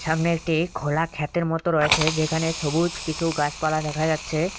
সামনে একটি খোলা খেতের মতো রয়েছে যেখানে সবুজ কিছু গাছপালা দেখা যাচ্ছে।